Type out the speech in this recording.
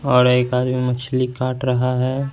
और एक आदमी मछली काट रहा है।